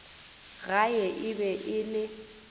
gae e be e le